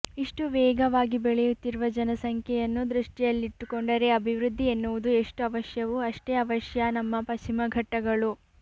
ಇಷ್ಟು ವೇಗವಾಗಿ ಬೆಳೆಯುತ್ತಿರುವ ಜನಸಂಖ್ಯೆಯನ್ನು ದೃಷ್ಟಿಯಲ್ಲಿಟ್ಟುಕೊಂಡರೆ ಅಭಿವೃದ್ಧಿ ಎನ್ನುವುದು ಎಷ್ಟು ಅವಶ್ಯವೋ ಅಷ್ಟೇ ಅವಶ್ಯ ನಮ್ಮ ಪಶ್ಚಿಮಘಟ್ಟಗಳು